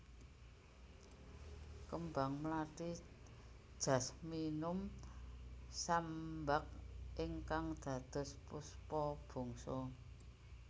Kembang mlati Jasminum sambac ingkang dados Puspa Bangsa